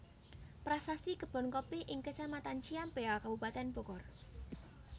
Prasasti Kebon Kopi ing Kecamatan Ciampea Kabupaten Bogor